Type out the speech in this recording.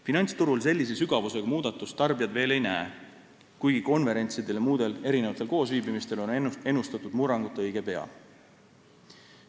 Finantsturul tarbijad veel sellise sügavusega muudatust ei näe, kuigi konverentsidel ja muudel koosviibimistel on ennustatud murrangut õige pea.